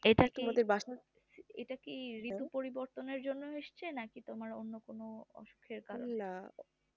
এটা কি ঋতু পরিবর্তনের জন্য হয়েছে না কি তুমার অন্য কিছু অসুখের পাললাই